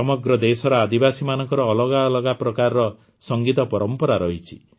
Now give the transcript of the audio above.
ସମଗ୍ର ଦେଶର ଆଦିବାସୀମାନଙ୍କର ଅଲଗା ଅଲଗା ପ୍ରକାରର ସଂଗୀତ ପରମ୍ପରା ରହିଛି